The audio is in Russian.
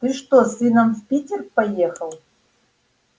ты что с сыном в питер поехал